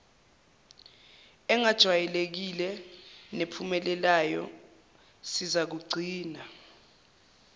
engajwayelekile nephumelelayo sizakugcina